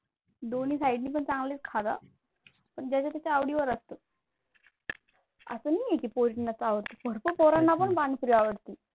दोन्ही side ला पण चांगलेच खातात, पण ज्याच्या त्याच्या आवडीवर असते. असं नाही की मुलींनाच आवडते भरपूर मुलांना पण पाणीपुरी आवडती.